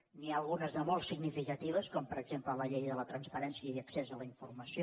n’hi ha algunes de molt significatives com per exemple la llei de la transparència i accés a la informació